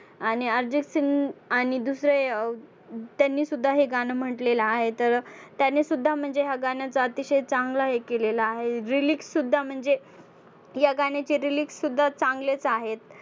आणि अर्जितसिंग आणि दुसरे अं त्यांनी सुद्धा हे गाणं म्हंटलेलं आहे तर त्यांनी सुद्धा म्हणजे ह्या गाण्याचा अतिशय चांगलं हे केलेलं आहे, lyrics सुद्धा म्हणजे ह्या गाण्याचे lyrics सुद्धा चांगलेच आहेत.